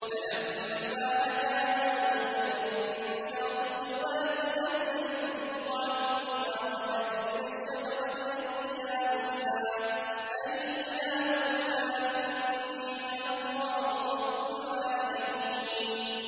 فَلَمَّا أَتَاهَا نُودِيَ مِن شَاطِئِ الْوَادِ الْأَيْمَنِ فِي الْبُقْعَةِ الْمُبَارَكَةِ مِنَ الشَّجَرَةِ أَن يَا مُوسَىٰ إِنِّي أَنَا اللَّهُ رَبُّ الْعَالَمِينَ